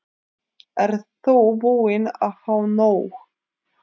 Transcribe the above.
Ert þú búin að fá nóg?